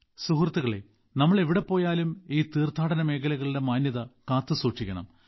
സുഹൃത്തുക്കളേ നാം എവിടെ പോയാലും ഈ തീർത്ഥാടന മേഖലകളിൽ മാന്യത കാത്തുസൂക്ഷിക്കണം